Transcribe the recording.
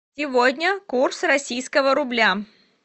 сегодня курс российского рубля